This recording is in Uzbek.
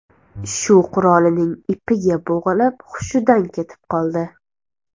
Shu qurolining ipiga bo‘g‘ilib, hushidan ketib qoldi.